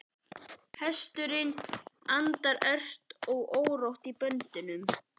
Hesturinn andar ört og er órór í böndum.